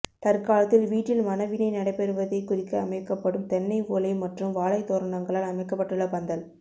தற்காலத்தில் வீட்டில் மணவினை நடைபெறுவதைக் குறிக்க அமைக்கப்படும் தென்னை ஓலை மற்றும் வாழைத் தோரணங்களால் அமைக்கப்பட்டுள்ள பந்தல்